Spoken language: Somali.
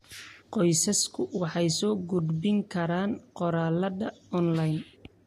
Qoysasku waxay soo gudbin karaan qoraallada onlayn.